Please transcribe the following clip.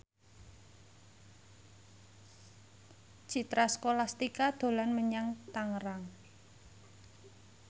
Citra Scholastika dolan menyang Tangerang